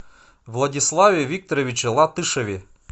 владиславе викторовиче латышеве